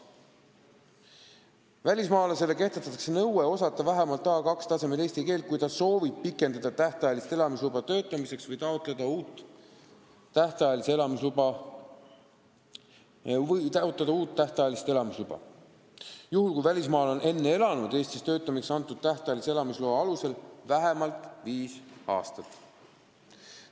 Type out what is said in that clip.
Välismaalasele kehtestatakse nõue osata eesti keelt vähemalt tasemel A2, kui ta soovib pikendada tähtajalist elamisluba töötamiseks või taotleda uut tähtajalist elamisluba juhul, kui ta on enne elanud Eestis töötamiseks antud tähtajalise elamisloa alusel vähemalt viis aastat.